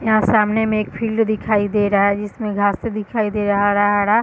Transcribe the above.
यहाँ सामने में एक फील्ड दिखाई दे रहा है जिसमें घासें दिखाई दे रहा है हरा-हरा।